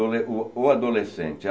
O o Adolescente.